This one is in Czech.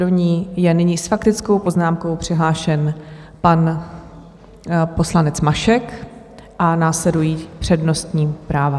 Do ní je nyní s faktickou poznámkou přihlášen pan poslanec Mašek a následují přednostní práva.